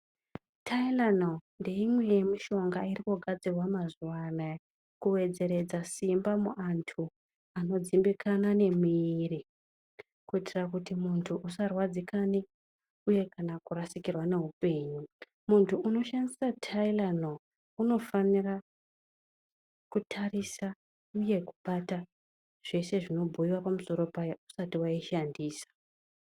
Tairanoro ngeimwe yemishonga irikugadzirwa mazuwa anaya, kuwedzeredza simba muantu anodzimbikana nemiiri, kuitira kuti muntu usarwadzikane uye kurasikirwa neupenyu. Muntu unoshandisa Tairanoro unofanirwa kutarisa uye kubata zveshe zvinobuyiwa pamusoro payo usati usati waishandisa.